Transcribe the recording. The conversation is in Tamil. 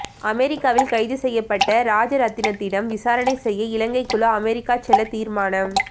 அமெரிக்காவில் கைது செய்யப்பட்ட ராஜரட்னத்திடம் விசாரணை செய்ய இலங்கைக்குழு அமெரிக்கா செல்ல தீர்மானம்